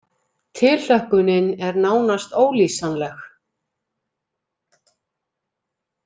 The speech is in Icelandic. Tilhlökkunin er nánast ólýsanleg